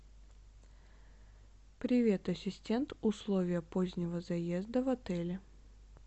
привет ассистент условия позднего заезда в отеле